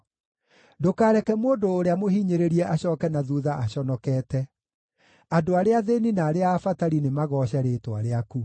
Ndũkareke mũndũ ũrĩa mũhinyĩrĩrie acooke na thuutha aconokete; andũ arĩa athĩĩni na arĩa abatari nĩmagooce rĩĩtwa rĩaku.